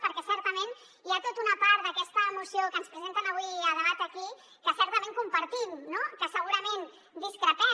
perquè certament hi ha tota una part d’aquesta moció que ens presenten avui a debat aquí que certament compartim no que segurament discrepem